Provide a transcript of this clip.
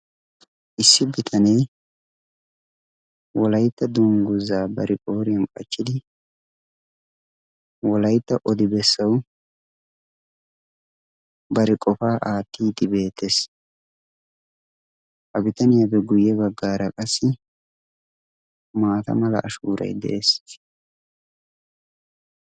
issi bitanee wolaytta dungguzaa bari pooriyan qachchidi wolaytta odi bessawu bari qofaa aattidi beetees. ha bitaniyaape guyye baggaara qassi maata mala ashuuray de'ees